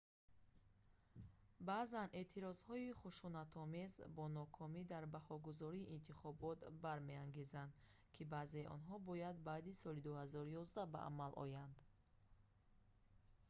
баъзан эътирозҳои хушунатомез бо нокомӣ дар баргузории интихобот бармеангезанд ки баъзеи онҳо бояд баъди соли 2011 ба амал оянд